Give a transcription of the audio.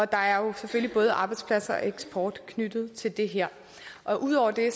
der er jo selvfølgelig både arbejdspladser og eksport knyttet til det her udover det